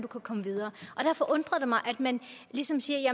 komme videre derfor undrer det mig at man ligesom siger